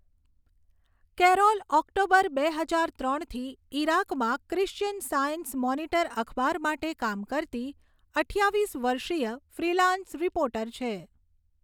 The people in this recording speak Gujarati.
કેરોલ ઓક્ટોબર બે હજાર ત્રણથી ઈરાકમાં ક્રિશ્ચિયન સાયન્સ મોનિટર અખબાર માટે કામ કરતી અઠ્ઠાવીસ વર્ષીય ફ્રીલાન્સ રિપોર્ટર છે.